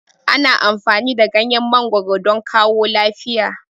Ana amfani da ganyen mangoro don kawo lafiya